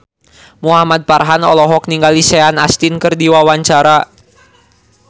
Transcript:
Muhamad Farhan olohok ningali Sean Astin keur diwawancara